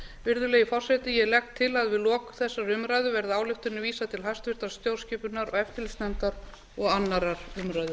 virðulegi forseti ég legg til að við lok þessarar umræðu verði ályktunartillögunni vísað til háttvirtrar stjórnskipunar og eftirlitsnefndar og annarrar umræðu